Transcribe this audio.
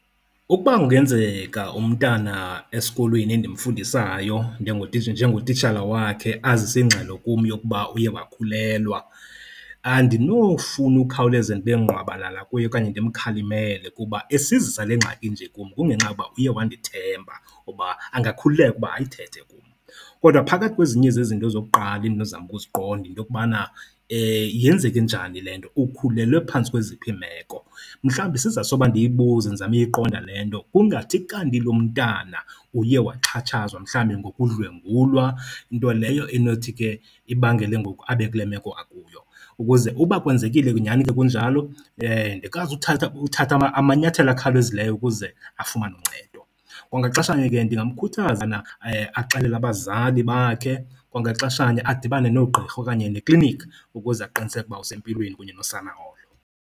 Ukuba kungenzeka umntana esikolweni endimfundisayo njengotitshala wakhe asize ingxelo kum yokuba uye wakhulelwa andinofuna ukhawuleze ndibe ngqwabalala kuye okanye ndimkhalimele kuba esizisa le ngxaki kum kungenxa yoba uye wandithemba ukuba angakhululeka ayithethe kum. Kodwa phakathi kwezinye zezinto zokuqala endinozama uziqonda yinto yokubana yenzeke njani le nto, ukhulelwe phantsi kweziphi iimeko. Mhlawumbi sisizathu soba ndiyibuze ndizame uyiqonda le nto kungathi kanti lo mntana uye waxhatshazwa mhlawumbi ngokudlwengulwa, nto leyo enothi ke ibangele ngoku abe kule meko akuyo. Ukuze uba kwenzekile, nyani ke kunjalo, ndikwazi uthatha ukuthatha amanyathelo akhawulezileyo ukuze afumane uncedo. Kwangaxeshanye ke ndingamkhuthaza axelele abazali bakhe, kwangaxeshanye adibane noogqirha okanye neklinikhi ukuze aqiniseke ukuba usempilweni kunye nosana olo.